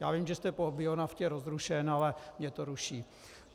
Já vím, že jste po bionaftě rozrušen, ale mě to ruší.